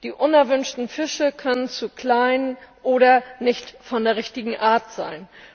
Die unerwünschten Fische können zu klein oder nicht von der richtigen Art sein.